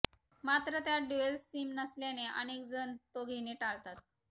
मात्र त्यात dual SIM नसल्याने अनेकजण तो घेणे टाळतात